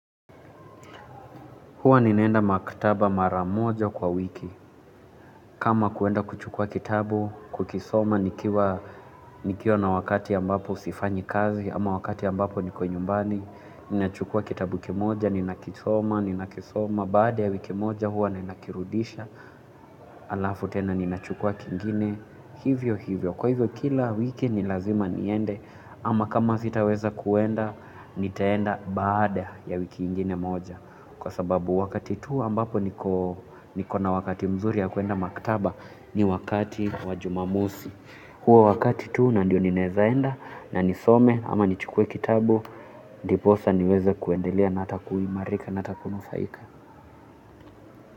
Huwa ninaenda maktaba mara moja kwa wiki. Kama kuenda kuchukuwa kitabu, kukisoma, nikiwa na wakati ambapo sifanyi kazi, ama wakati ambapo niko nyumbani, ninachukuwa kitabu kimoja, ninakisoma, ninakisoma, baada ya wiki moja huwa ninakirudisha, halafu tena ninachukuwa kingine, hivyo hivyo. Kwa hivyo kila wiki ni lazima niende, ama kama sitaweza kuenda, nitaenda baada ya wiki ingine moja. Kwa sababu wakati tu ambapo niko na wakati mzuri ya kuenda maktaba ni wakati wa Jumamosi huo wakati tu na ndio ninaeza enda na nisome ama nichukuwe kitabu ndiposa niweze kuendelea na hata kuimarika na hata kunufaika.